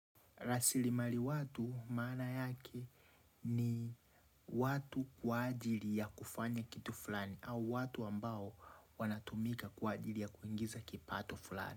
Rasilimali watu maana yake ni watu kwa ajili ya kufanya kitu fulani. Au watu ambao wanatumika kwa ajili ya kuingiza kipato fulani.